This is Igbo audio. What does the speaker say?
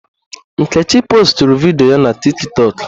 Nkechi postụrụ vidiyo na tịktọk